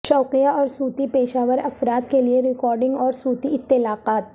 شوقیہ اور صوتی پیشہ ور افراد کے لئے ریکارڈنگ اور صوتی اطلاقات